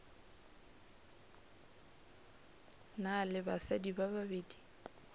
na le basadi ba babedi